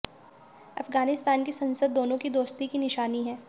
अफगानिस्तान की संसद दोनों की दोस्ती की निशानी है